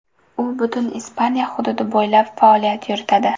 U butun Ispaniya hududi bo‘ylab faoliyat yuritadi.